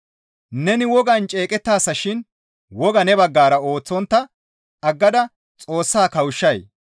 Neni wogaan ceeqettaasa shin wogaa ne baggara ooththontta aggada Xoossa kawushshay?